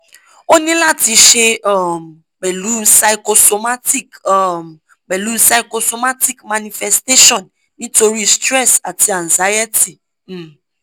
oni lati se um pẹ̀lú pychosomatic um pẹ̀lú pychosomatic manifestation nítorí stress ati anxiety um